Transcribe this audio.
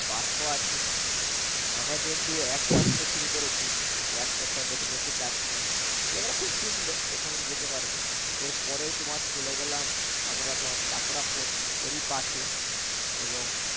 park ও আছে আমরা যেহেতু একপাশ দিয়ে শুরু করেছি তো একটা একটা দেখে দেখে যাচ্ছি জায়গাটা খুব সুন্দর এখানেও যেতে পারবে ওর পরেই তোমার চলে গেলাম আমরা তোমার chapora fort ওরই পাশে এবং